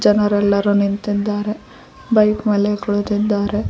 ಜನರೆಲ್ಲರೂ ನಿಂತಿದ್ದಾರೆ ಬೈಕ್ ಮೇಲೆ ಕುಳಿತಿದ್ದಾರೆ.